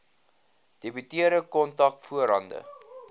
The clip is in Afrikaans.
debiteure kontant voorhande